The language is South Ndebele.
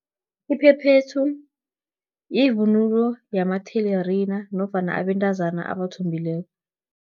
Iphephethu, yivunulo yamathelerina, nofana abentazana abathombileko.